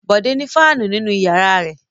Bọ̀dé ní fáánù nínú ìyàrá rẹ̀.